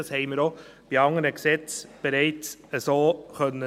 Das haben wir auch bei anderen Gesetzen bereits so erleben können.